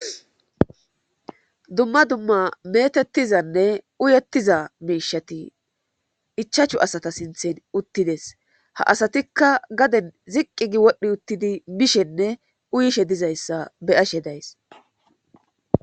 dumma dumma metettizanne uyettiza miishati ichachu asata sinthen uttides ha asatikka gaden ziqqi gi wodhdhi uttidi bishenne uyishe dizayssa be'ashe days